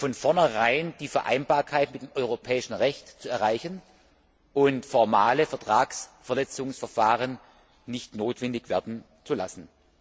von vornherein die Vereinbarkeit mit dem europäischen Recht zu erreichen und formale Vertragsverletzungsverfahren nicht notwendig werden zu lassen.